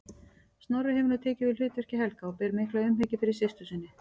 Snorri hefur nú tekið við hlutverki Helga og ber mikla umhyggju fyrir systur sinni.